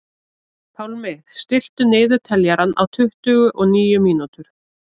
Pálmi, stilltu niðurteljara á tuttugu og níu mínútur.